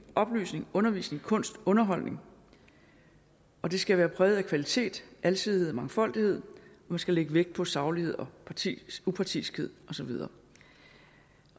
oplysning undervisning kunst underholdning og det skal være præget af kvalitet alsidighed og mangfoldighed man skal lægge vægt på saglighed og upartiskhed og så videre